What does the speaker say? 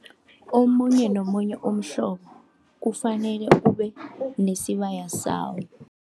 Omunye nomunye umhlobo, kufanele ube nesibaya sawo.